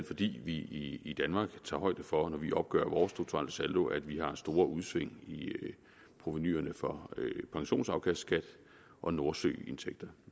fordi vi i i danmark tager højde for når vi opgør vores strukturelle saldo at vi har store udsving i provenuet fra pensionsafkastskat og nordsøindtægterne